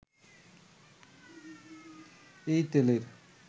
এই তেলের